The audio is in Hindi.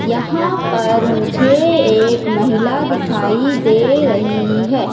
यहां पर मुझे एक महिला दिखाई दे रही है।